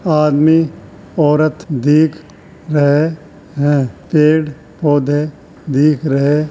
आदमी औरत दिख रहे हैं। पेड़-पौधे दिख रहे --